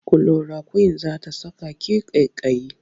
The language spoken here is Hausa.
Kulorakwin za ta saka ki ƙaiƙayi.